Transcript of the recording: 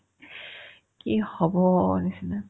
কি হ'বৰ নিচিনা